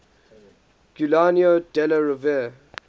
giuliano della rovere